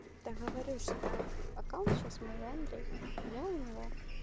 договорюсь и так аккаунт сейчас мой у андрея а я у него